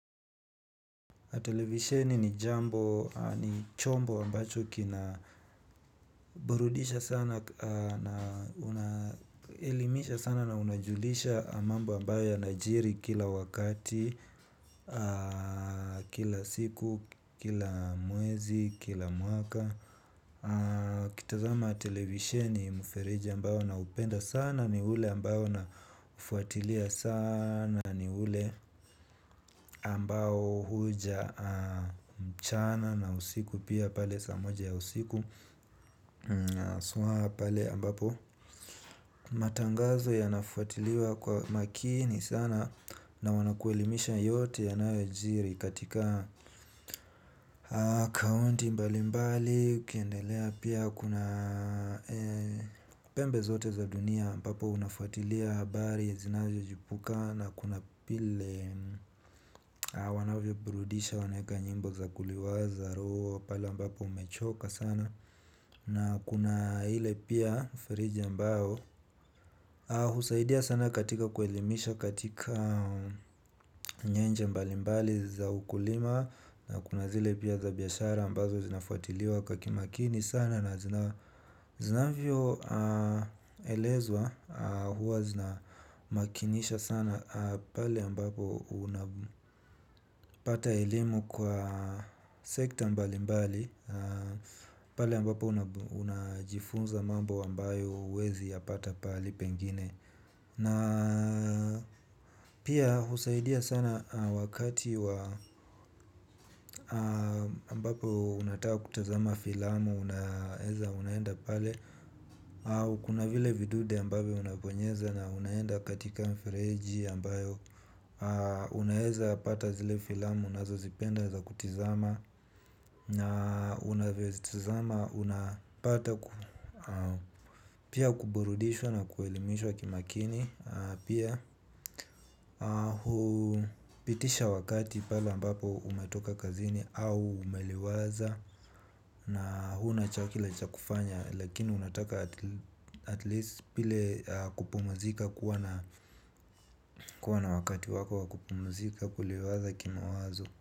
Televisheni ni jambo, ni chombo ambacho kinaburudisha sana na unajulisha mambo ambayo yanajiri kila wakati kila siku, kila mwezi, kila mwaka. Kitazama televisheni mfereje ambayo naupenda sana ni ule ambayo una ufuatilia sana ni ule ambayo huja mchana na usiku pia pale saa moja ya usiku suha pale ambapo matangazo yanafuatiliwa kwa makini sana na wanakuelimisha yote yanayojiri katika kaunti mbali mbali ukiendelea pia. Kuna pembe zote za dunia aMbapo unafuatilia habari zinaziochipuka. Na kuna vile wanavyo burudisha wanaeka nyimbo za kuliwaza roho pale ambapo umechoka sana. Na kuna ile pia feriji ambayo husaidia sana katika kuelimisha. Katika nyenje mbali mbali za ukulima na kuna zile pia za biashara ambazo zinafuatiliwa kwa kimakini sana na zinavyo elezwa huwa zinamakinisha sana pale amabapo unapata elimu kwa sekta mbali mbali pale ambapo unajifunza mambo ambayo hauezipata mahala pengine. Na pia husaidia sana wakati wa ambapo unataka kutazama filamu unaeza unaenda pale. Kuna vile vidude ambavyo unabonyeza na unaenda katika mfireji ambayo unaeza pata zile filamu unazozipenda za kutizama. Na unavvyo zitizama unapata pia kuburudishwa na kuelimishwa kimakini. Pia, pitisha wakati pale ambapo umetoka kazini au umeliwaza. Na huna cha kile cha kufanya. Lakini unataka at least vile kupumzika kuwa na wakati wako wakupumzika kuliwaza kimawazo.